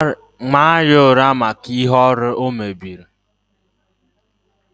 tie ya urs maka ihe ọrụ m o mebieri